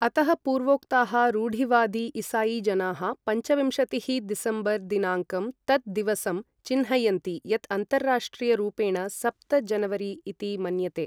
अतः पूर्वोक्ताः रूढिवादी ईसाईजनाः पञ्चविंशतिः दिसम्बर् दिनाङ्कं तत् दिवसं चिह्नयन्ति यत् अन्तर्राष्ट्रीयरूपेण सप्त जनवरी इति मन्यते।